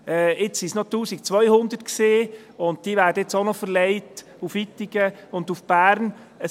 Jetzt waren es noch 1200, und diese werden jetzt auch noch nach Ittigen und nach Bern verlegt.